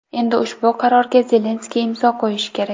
Endi ushbu qarorga Zelenskiy imzo qo‘yishi kerak.